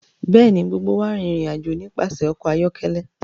Bẹẹni, gbogbo wa rin irin-ajo nipasẹ ọkọ ayọkẹlẹ